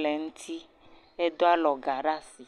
le eŋuti, edoa alɔga ɖe asi.